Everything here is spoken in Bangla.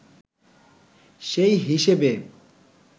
সেই হিসেবে